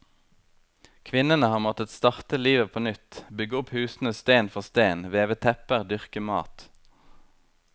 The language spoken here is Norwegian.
Kvinnene har måttet starte livet på nytt, bygge opp husene sten for sten, veve tepper, dyrke mat.